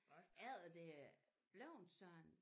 Efter det er bleven sådan